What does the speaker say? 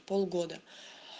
полгода